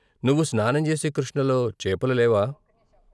నువ్వు స్నానంచేసే కృష్ణలో చేపలు లేవా?